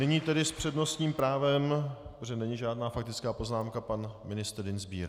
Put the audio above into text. Nyní tedy s přednostním právem, protože není žádná faktická poznámka, pan ministr Dienstbier.